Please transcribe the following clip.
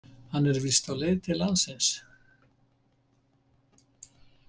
Hann er víst á leið til landsins.